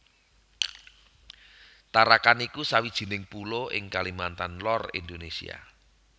Tarakan iku sawijining pulo ing Kalimantan Lor Indonésia